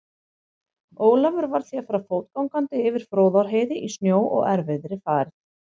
Ólafur varð því að fara fótgangandi yfir Fróðárheiði í snjó og erfiðri færð.